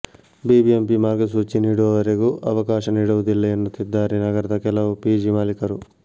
BBMP ಮಾರ್ಗಸೂಚಿ ನೀಡುವವರೆಗೂ ಅವಕಾಶ ನೀಡುವುದಿಲ್ಲ ಎನ್ನುತ್ತಿದ್ದಾರೆ ನಗರದ ಕೆಲವು ಪಿಜಿ ಮಾಲಿಕರು